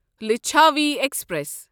Lichchhavi express